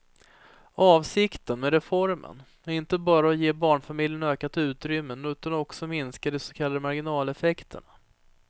Avsikten med reformen är inte bara att ge barnfamiljerna ökat utrymme utan också minska de så kallade marginaleffekterna.